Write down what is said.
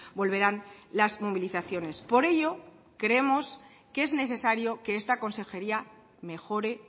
volverán las movilizaciones por ello creemos que es necesario que esta consejería mejore